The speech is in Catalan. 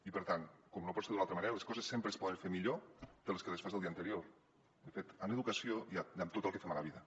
i per tant com no pot ser d’una altra manera les coses sempre es po·den fer millor de com les fas el dia anterior de fet en educació i en tot el que fem a la vida